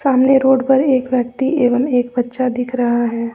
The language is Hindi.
सामने रोड पर एक व्यक्ति एवं एक बच्चा दिख रहा है।